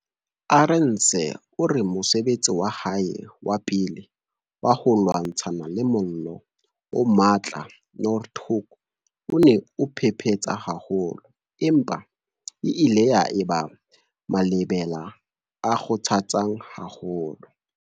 Arendse o re mosebetsi wa hae wa pele wa ho lwantshana le mollo o matla Noordhoek o ne o phephetsa haholo, empa e ile ya eba malebela a kgothatsang haholo.